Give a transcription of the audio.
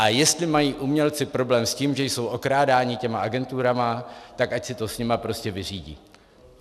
A jestli mají umělci problém s tím, že jsou okrádáni těmi agenturami, tak ať si to s nimi prostě vyřídí.